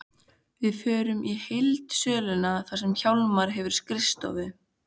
Við förum í heildsöluna þar sem Hjálmar hefur skrifstofu.